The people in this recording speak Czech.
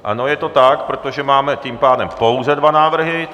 Ano, je to tak, protože máme tím pádem pouze dva návrhy.